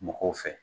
Mɔgɔw fɛ